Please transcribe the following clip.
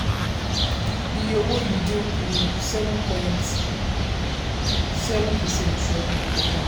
iye owó yìí dín kù sí seven point seven percent ju ọdún tó kọjá lọ.